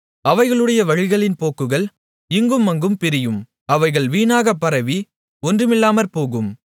அவைகளுடைய வழிகளின் போக்குகள் இங்குமங்கும் பிரியும் அவைகள் வீணாக பரவி ஒன்றுமில்லாமற்போகும்